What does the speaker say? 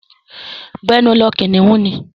Gbẹ́nu lọ! Kìnnìún ni.